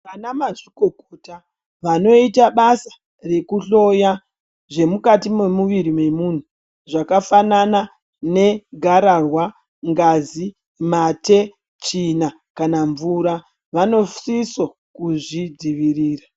Vanamazvikokota vanoita basa rekuhloya zvemukati memwiri memunhu , zvakafanana negarawa, ngazi, mate, tsvina kana mvura vanosisa kuzvidzivirira.